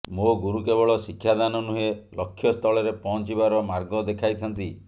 ମୋ ଗୁରୁ କେବଳ ଶିକ୍ଷା ଦାନ ନୁହେଁ ଲକ୍ଷ୍ୟ ସ୍ଥଳରେ ପହଞ୍ଚିବାର ମାର୍ଗ ଦେଖାଇଥାନ୍ତି